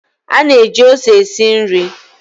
A na-eji ose esi nri.